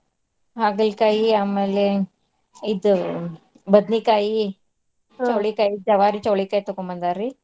ಹಾಗಲ್ಕಾಯಿ ಆಮೇಲೆ ಇದ್ ಬದ್ನಿಕಾಯಿ, ಜವಾರಿ ಚವ್ಳಿಕಾಯಿ ತಗೊಂಡ್ ಬಂದಾರ್ರಿ.